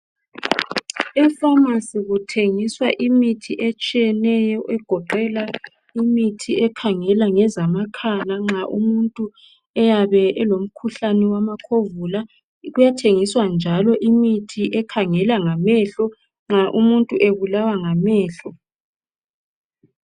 Epharmacy kuthengiswa imithi etshiyeneyo egoqela imithi ekhangela ngezamakhala nxa umuntu eyabe elomkhuhlane wamakhovula. Kuyathengiswa njalo imithi ekhangela ngamehlo nxa umuntu ebulawa ngamehlo.